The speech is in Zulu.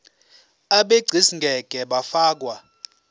abegcis ngeke bafakwa